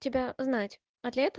тебя знать